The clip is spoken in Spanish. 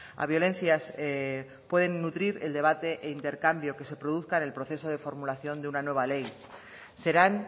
a violencias pueden nutrir el debate e intercambio que se produzca en el proceso de formulación de una nueva ley serán